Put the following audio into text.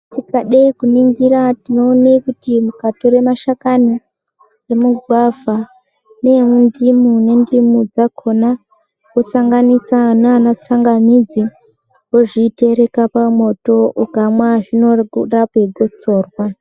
Tikade kuningira tinoone kuti mukatore mashakani emigwavha, neemundimu nendimu dzakhona, osanganisa naanatsangamidzi ,wozvitereka pamwoto ,ukamwa zvinouye koorape gotsorwa.